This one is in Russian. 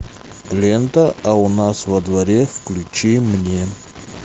лента а у нас во дворе включи мне